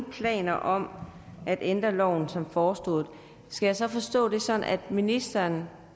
planer om at ændre loven som foreslået skal jeg så forstå det sådan at ministeren